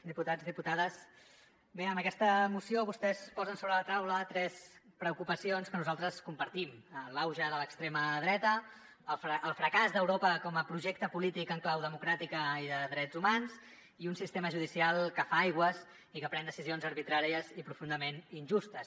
diputats diputades bé amb aquesta moció vostès posen sobre la taula tres preocupacions que nosaltres compartim l’auge de l’extrema dreta el fracàs d’europa com a projecte polític en clau democràtica i de drets humans i un sistema judicial que fa aigües i que pren decisions arbitràries i profundament injustes